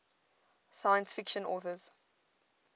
science fiction authors